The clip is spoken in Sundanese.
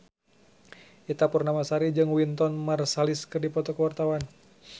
Ita Purnamasari jeung Wynton Marsalis keur dipoto ku wartawan